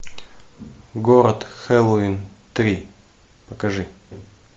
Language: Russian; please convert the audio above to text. город хэллоуин три покажи